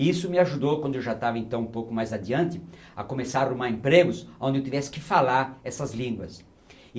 E isso me ajudou, quando eu já estava, então, um pouco mais adiante, a começar a arrumar empregos onde eu tivesse que falar essas línguas.